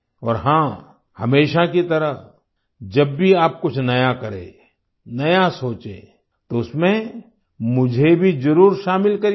और हाँ हमेशा की तरह जब भी आप कुछ नया करें नया सोचें तो उसमें मुझे भी जरूर शामिल करिएगा